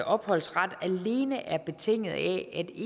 opholdsret alene er betinget af